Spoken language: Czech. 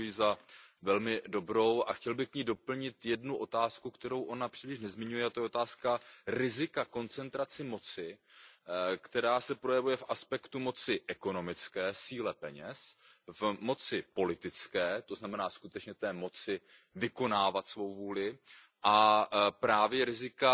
Považuju ji za velmi dobrou a chtěl bych k ní doplnit jednu otázku, kterou ona příliš nezmiňuje, a to je otázka rizika koncentrace moci, která se projevuje v aspektu moci ekonomické, síle peněz, v moci politické, to znamená skutečně v té moci vykonávat svou vůli, a právě rizika